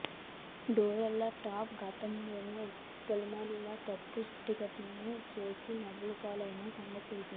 Donald Trump గతంలోనూ పలుమార్లు తప్పుడు ట్వీట్లు చేసి నవ్వుల పాలయిన సంగతి తెలిసిందే